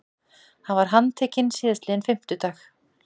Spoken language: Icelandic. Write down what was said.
Hann var handtekinn síðastliðinn fimmtudag